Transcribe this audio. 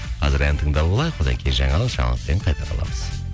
қазір ән тыңдап алайық одан кейін жаңалық жаңалықтан кейін қайта ораламыз